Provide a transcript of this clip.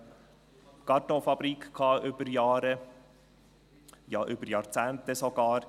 Dort hatten wir über Jahre, ja sogar über Jahrzehnte eine Kartonfabrik.